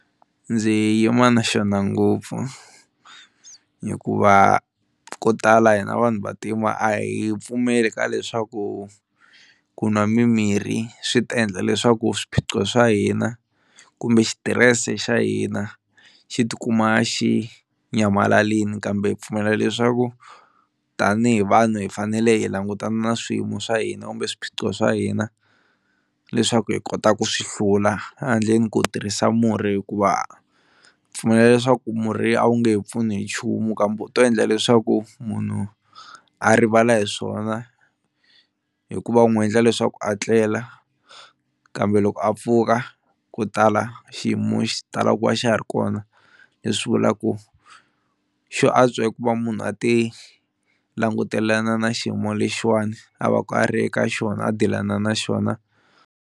Ndzi yima na xona ngopfu hikuva ko tala hina vanhu vantima a hi pfumeli ka leswaku ku nwa mimirhi swi ta endla leswaku swiphiqo swa hina kumbe xitirese xa hina xi tikuma xi nyamalalini kambe hi pfumela leswaku tanihi vanhu hi fanele hi langutana na swiyimo swa hina kumbe swiphiqo swa hina leswaku hi kota ku swi hlula, handleni ko tirhisa murhi hikuva pfumelela leswaku murhi a wu nge he pfuni hi nchumu kambe wu to endla leswaku munhu a rivala hi swona hikuva wu n'wi endla leswaku a tlela kambe loko a pfuka ko tala xiyimo xi tala ku va a xa ha ri kona, leswi vulaka ku xo antswa i ku va munhu a ti langutelana na xiyimo lexiwani a va ka a ri eka xona a deal-ana na xona.